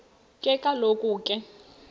ke kaloku ke